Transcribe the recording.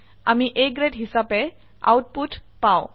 আমি A grade হিসাবে output পাও